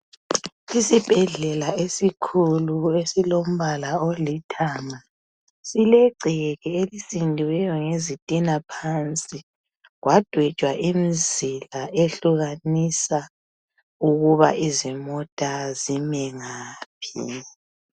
Isibhedlela esikhulu esilombala olithanga silegceke elisindiweyo ngezitina phansi kwadwetshwa imizila ehlukanisa ukuba izimota zime ngaphi.